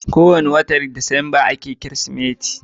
ko wani watan disamba a ke yin kirismas